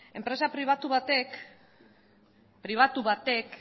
enpresa pribatu batek pribatu batek